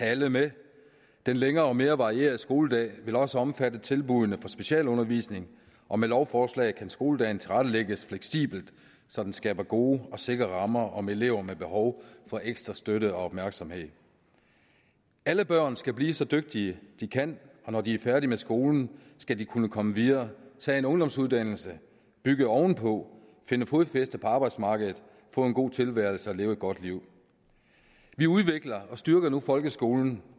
alle med den længere og mere varierede skoledag vil også omfatte tilbuddene om specialundervisning og med lovforslaget kan skoledagen tilrettelægges fleksibelt så den skaber gode og sikre rammer om elever med behov for ekstra støtte og opmærksomhed alle børn skal blive så dygtige de kan og når de er færdige med skolen skal de kunne komme videre tage en ungdomsuddannelse bygge ovenpå finde fodfæste på arbejdsmarkedet få en god tilværelse og leve et godt liv vi udvikler og styrker nu folkeskolen